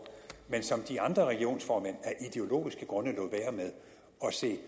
men som de andre regionsformænd af ideologiske grunde lod være med og se